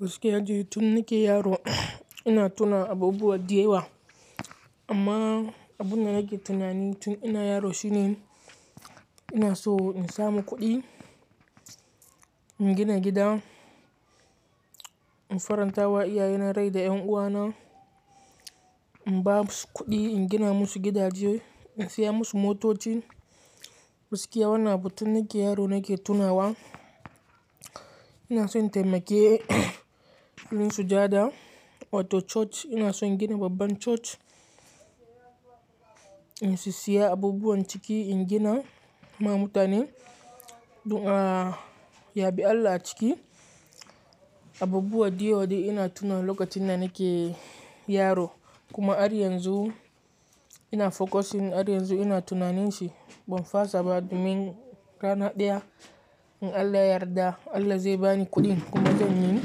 Gaskiya de tun nike yaro ina tuna abubuwa diyawa amma abunda nake tunani tun ina yaro shine ina so in samu kuɗi, in gina gida, in faranta wa iyaye na rai da 'yan uwana, in basu kuɗi, in gina musu gidaje, in saya musu motoci. Gaskiya wannan abu tun nike yaro nake tunawa. Ina son taimake mun sujada. Auto church ina son gina babban church. In su siya abubuwan ciki, in gina ma mutane du a, yabi Allah a ciki. Abubuwa diyodi ina tuna lokacin da nike yaro kuma har yanzu ina focusing. Har yanzu ina tunanin shi. Ban fasa ba domin rana ɗaya in Allah yarda Allah zai bani kuɗin kuma zan yi.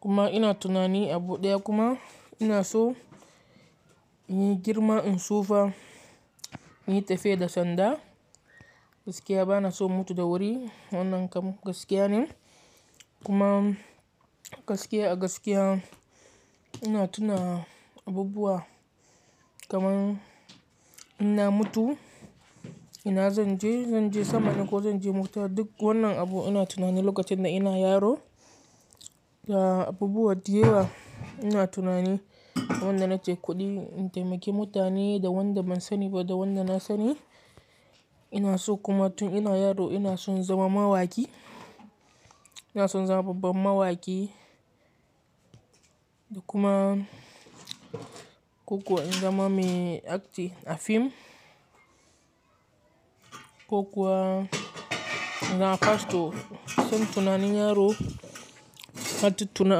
Kuma ina tunani abu ɗaya kuma ina so in yi girma in sufa, in yi tafe da sanda. Gaskiya bana so mutu da wuri. Wannan kam gaskiya ne. Kuma gaskiya a gaskiya ina tuna abubuwa kamar ina mutu ina zan je, zan je sama ne ko zan je mutu? Duk wannan abu ina tunani lokacin da ina yaro. Ya abubuwa diyawa ina tunani wanda nace kuɗi in taimake mutane da wanda ban sani ba da wanda na sani. Ina so kuma tun ina yaro ina son zama mawaki. Ina son zama babban mawaki da kuma ko kuwa in zama mai akti a fim ko kuwa na pasto. San tunani yaro, na tuttuna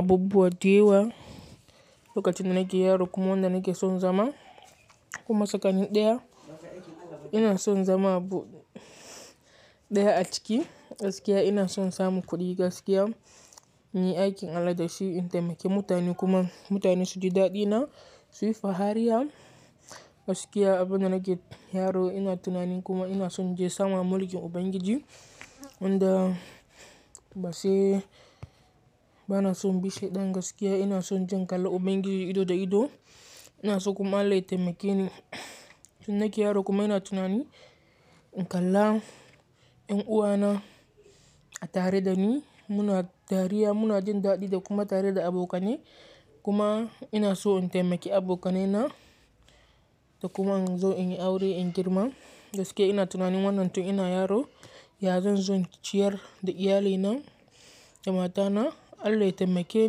abubuwa diyawa lokacin da nike yaro kuma wanda nike son zama. Kuma sakani ɗaya ina son zama abu ɗaya a ciki. Gaskiya ina son samu kuɗi gaskiya, muyi aikin Allah da shi in taimake mutane kuma mutane su ji daɗi na su yi fahariya. Gaskiya abunda nike yaro ina tunanin kuma ina son je sama mulkin Ubangiji wanda ba sai-- bana son bishedan gaskiya. Ina sonje in kala Ubangiji ido da ido. Ina so kuma Allah ya taimake ni tun nike yaro kuma ina tunani in kalla 'yan uwana a tare da ni muna dariya muna jin daɗi da kuma tare da abokane. Kuma ina so in taimake abokanai na da kuma in zo in yi aure in girma. Gaskiya ina tunanin wannan tun ina yaro. Ya zan zo ciyar da iyalai na, damata na. Allah ya taimake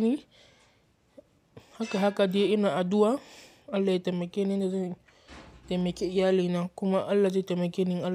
ni haka haka diye ina addu'a. Allah ya taimake ni, na taimake iyalai na kuma Allah zai taimake ni Allah.